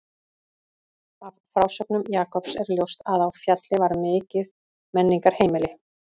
Af frásögnum Jakobs er ljóst að á Fjalli var mikið menningarheimili.